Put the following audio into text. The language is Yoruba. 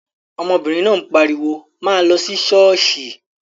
Ọmọbìnrin náà pariwo, 'máa lọ sí ṣọ́ọ̀ṣì'